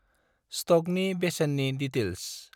स्टकनि बेसेननि दिटैल्स।